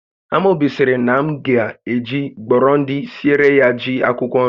Amobi sịrị na m ga eji gbọrọndị siere ya ji akwụkwọ nri